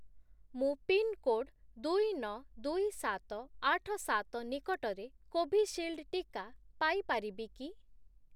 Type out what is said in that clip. ମୁଁ ପିନ୍‌କୋଡ୍ ଦୁଇ, ନଅ, ଦୁଇ, ସାତ, ଆଠ, ସାତ ନିକଟରେ କୋଭିଶିଲ୍ଡ୍‌ ଟିକା ପାଇ ପାରିବି କି?